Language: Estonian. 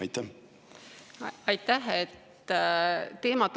Aitäh!